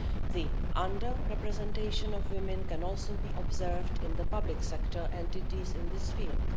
The under representation of women can also be observed in the public sector entities in this field.